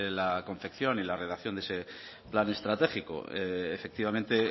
la confección y la redacción de ese plan estratégico efectivamente